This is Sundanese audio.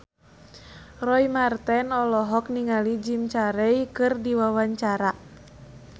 Roy Marten olohok ningali Jim Carey keur diwawancara